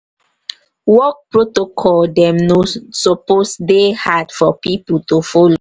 work protocol dem no suppose dey hard for pipo to folo.